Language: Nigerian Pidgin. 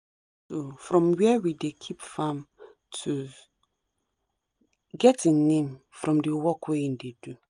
from where we dey keep farm tools get e name from the work wey him dey do